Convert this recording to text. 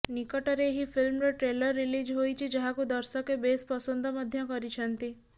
ନିକଟରେ ଏହି ଫିଲ୍ମର ଟ୍ରେଲର ରିଲିଜ ହୋଇଛି ଯାହାକୁ ଦର୍ଶକେ ବେସ୍ ପସନ୍ଦ ମଧ୍ୟ କରିଛନ୍ତି